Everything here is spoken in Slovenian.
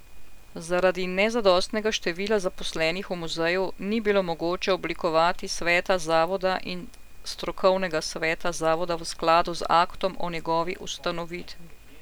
Zaradi nezadostnega števila zaposlenih v muzeju ni bilo mogoče oblikovati sveta zavoda in strokovnega sveta zavoda v skladu z aktom o njegovi ustanovitvi.